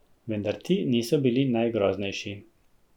Vendar ti niso bili najgroznejši.